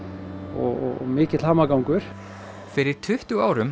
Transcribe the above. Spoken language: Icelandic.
og mikill hamagangur fyrir tuttugu árum